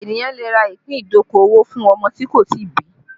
Ènìyàn lè rà ìpín ìdókòwò fún ọmọ tí kò tí ì bí